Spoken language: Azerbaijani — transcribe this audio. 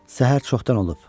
Səhər çoxdan olub.